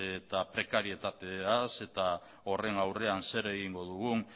eta prekaritateaz eta horren aurrean zer egingo dugun